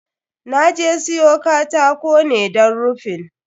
Na je siyo katako ne don rufin.